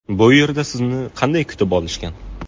Bu yerda sizni qanday kutib olishgan?